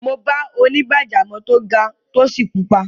Mo bá onígbàjámọ̀ tó ga, tó sì pupa.